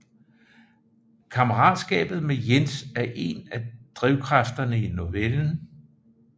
Kammeratskabet med Jens er en af drivkræfterne i novellen